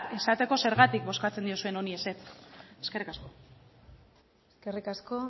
esateko zergatik bozkatzen diozun honi ezetz eskerrik asko eskerrik asko